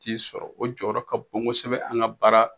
T'i sɔrɔ o jɔyɔrɔ ka kosɛbɛ an ka baara